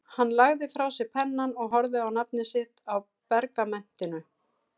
Hann lagði frá sér pennann og horfði á nafnið sitt á pergamentinu.